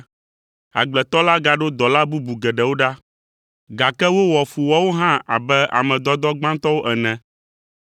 “Agbletɔ la gaɖo dɔla bubu geɖewo ɖa, gake wowɔ fu woawo hã abe ame dɔdɔ gbãtɔwo ene.